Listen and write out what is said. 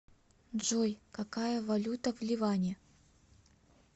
джой какая валюта в ливане